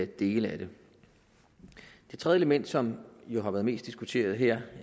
dele af det det tredje element som jo har været mest diskuteret her